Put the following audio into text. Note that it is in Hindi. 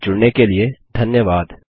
हमसे जुड़ने के लिए धन्यवाद